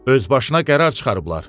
Özbaşına qərar çıxarıblar.